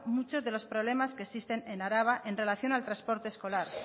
muchos de los problemas que existe en araba en relación al transporte escolar